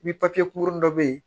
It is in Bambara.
Ni kunkurunin dɔ bɛ yen